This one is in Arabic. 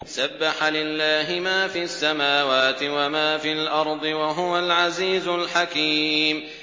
سَبَّحَ لِلَّهِ مَا فِي السَّمَاوَاتِ وَمَا فِي الْأَرْضِ ۖ وَهُوَ الْعَزِيزُ الْحَكِيمُ